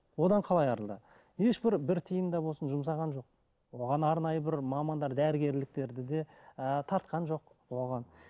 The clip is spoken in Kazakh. одан қалай арылды ешбір бір тиын да болсын жұмсаған жоқ оған арнайы бір мамандар дәрігерліктерді де ыыы тартқан жоқ оған